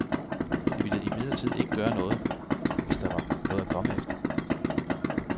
Det ville imidlertid ikke gøre noget, hvis der var noget at komme efter.